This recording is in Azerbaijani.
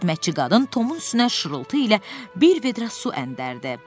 Xidmətçi qadın Tomun üstünə şırıltı ilə bir vedrə su əndərdi.